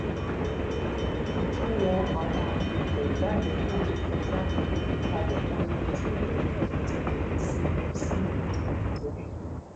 a tún wo àwọn ìtèjáde tó ti kọjá ká lè mọ ibi tí ìgbékèlé ti bèrè sí lọ sílè díèdíè